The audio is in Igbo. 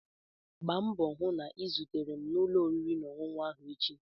Gba mbọ hụ na ị zutere m na ụlọ oriri na ọṅụṅụ ahụ echi!